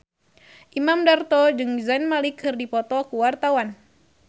Imam Darto jeung Zayn Malik keur dipoto ku wartawan